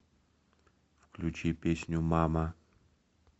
включи песню мама